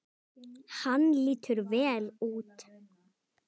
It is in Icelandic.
Hann lítur vel út